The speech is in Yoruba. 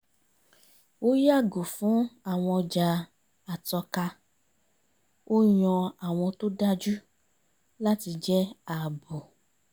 ó yàgò fún àwọn ọjà àtọka ó yan àwọn tó dájú láti jẹ́ ààbò